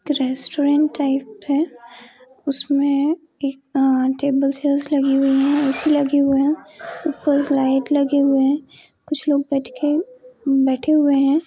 Restaurant type है उसमें एक अ-टेब्लस चेयर्स लगी हुई है ए.सी. लगी हुए है ऊपर लाइट लगे हुए हैं कुछ लोग बैठ के बेठे हुए हैं।